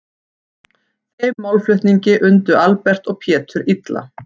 Þeim málflutningi undu Albert og Pétur illa.